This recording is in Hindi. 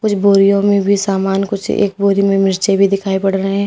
कुछ बोरियों में भी सामान कुछ एक बोरि में मिर्चें भी दिखाई पड़ रहे--